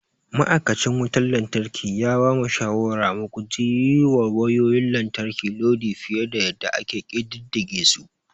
Ma'aikacin wutar lantarki ya bamu shawarar mu guji yiwa wayayoyin lantarki lodi fiye da yadda ake ƙididdige su.